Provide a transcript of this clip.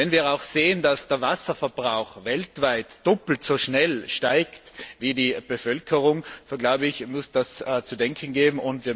Wenn wir auch sehen, dass der Wasserverbrauch weltweit doppelt so schnell steigt wie die Bevölkerung so glaube ich, muss das zu denken geben.